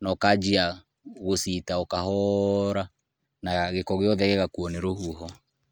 na ũkanjia gũciita o kahora na gĩko gĩothe gĩgakuo nĩ rũhuho.